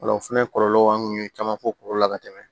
O la o fɛnɛ kɔlɔlɔw an kun ye caman fɔ olu la ka tɛmɛ